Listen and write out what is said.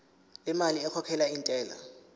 lemali ekhokhelwa intela